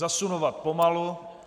Zasunovat pomalu.